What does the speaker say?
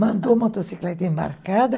Mandou a motocicleta embarcada.